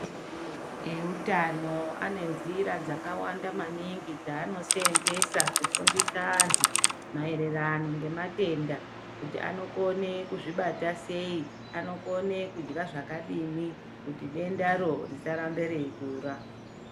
Eutano ane nzira dzakawanda maningi dzaano seenzesa kufundisa anhu maererano ngematenda kuti anokone kuzvibata sei, anokone kudya zvakadini kuti dendaro risarambe reikura.